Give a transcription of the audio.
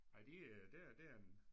Nej de øh det er det er en